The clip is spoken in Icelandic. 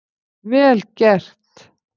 Vel gert!